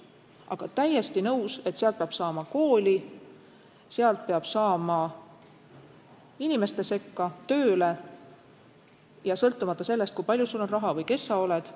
Aga täiesti nõus, et sealt külast peab saama kooli, sealt peab saama inimeste sekka, tööle ja seda sõltumata sellest, kui palju sul on raha või kes sa oled.